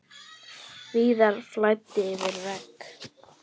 Víða flæddi yfir vegi.